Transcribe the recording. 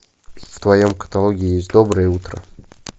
в твоем каталоге есть доброе утро